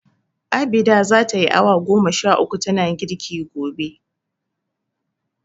Abida za tayi awa goma sha uku tana girki gobe.